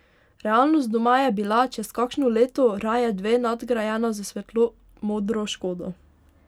Realnost doma je bila, čez kakšno leto, raje dve, nadgrajena s svetlomodro škodo.